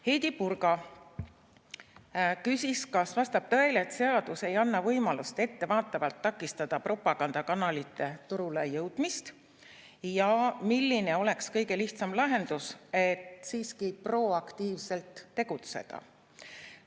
Heidy Purga küsis, kas vastab tõele, et seadus ei anna võimalust ettevaatavalt takistada propagandakanalite turule jõudmist, ja milline oleks kõige lihtsam lahendus, et siiski proaktiivselt tegutseda.